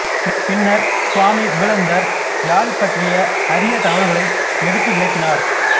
பின்னர்ச் சுவாமி விபுலாநந்தர் யாழ் பற்றிய அரிய தகவல்களை எடுத்துவிளக்கினார்